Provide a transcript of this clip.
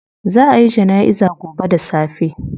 Zaa a yi janaiza gobe da safe